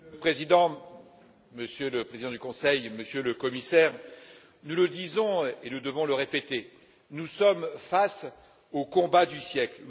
Monsieur le Président, Monsieur le Président du Conseil, Monsieur le Commissaire, nous le disons et nous devons le répéter nous sommes face au combat du siècle.